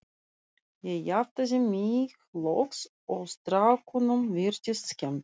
Ég jafnaði mig loks og strákunum virtist skemmt.